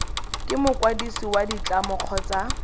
ke mokwadisi wa ditlamo kgotsa